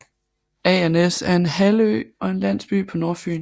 Agernæs er en halvø og en landsby på Nordfyn